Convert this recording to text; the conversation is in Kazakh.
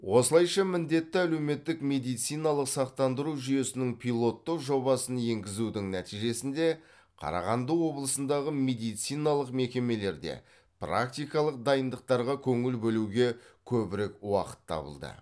осылайша міндетті әлеуметтік медициналық сақтандыру жүйесінің пилоттық жобасын енгізудің нәтижесінде қарағанды облысындағы медициналық мекемелерде практикалық дайындықтарға көңіл бөлуге көбірек уақыт табылды